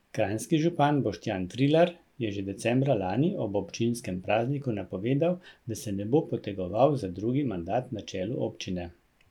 Kranjski župan Boštjan Trilar je že decembra lani ob občinskem prazniku napovedal, da se ne bo potegoval za drugi mandat na čelu občine.